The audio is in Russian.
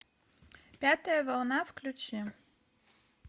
пятая волна включи